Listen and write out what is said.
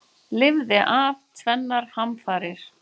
Lifði af tvennar hamfarir